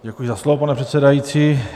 Děkuji za slovo, pane předsedající.